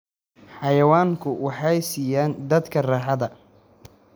Xayawaanku waxay siiyaan dadka raaxada.